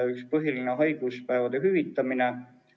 Üks põhiline oli haiguspäevade hüvitamine.